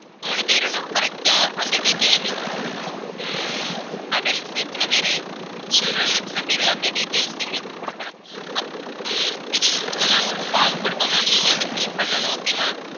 மூணு பேருன்னா correct ஆ அந்த detail எங்களுக்கு குடுக்கணும். ஹம் adults எத்தனை பேரு children எத்தன பேரு அந்த details எங்களுக்கு குடுக்கணும். அப்~ ஹம் நாங்க ஒரு form குடுப்போம் ma'am நீங்க வந்து, fill பண்ணணும் okay வா